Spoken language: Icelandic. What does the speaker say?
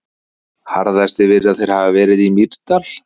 Harðastir virðast þeir hafa verið í Mýrdal.